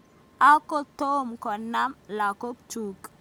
Akotoi konam lakok chuk.